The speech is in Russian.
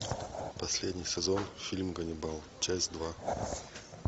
последний сезон фильм ганнибал часть два